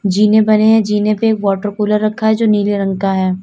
जीने बड़े हैं जीने पे एक वाटर कूलर रखा है जो नीले रंग का है।